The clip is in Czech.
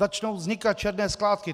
Začnou vznikat černé skládky.